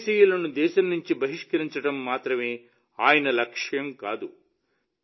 విదేశీయులను దేశం నుండి బహిష్కరించడం మాత్రమే ఆయన లక్ష్యం కాదు